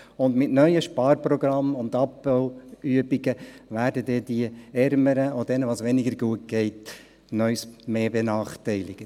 Und mit neuen Sparprogrammen und Abbauübungen werden die Ärmeren und die, denen es weniger gut geht, noch einmal mehr benachteiligt.